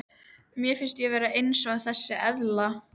Mér finnst ég vera eins og þessi eðla.